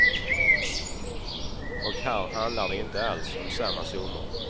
Och här handlar det inte alls om samma summor.